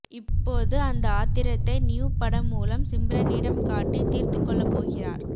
இப்போது அந்த ஆத்திரத்தை நியூ படம் மூலம்சிம்ரனிடம் காட்டி தீர்த்துக் கொள்ளப் போகிறார்